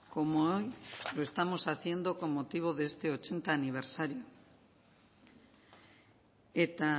como hoy lo estamos haciendo con motivo de este ochenta aniversario eta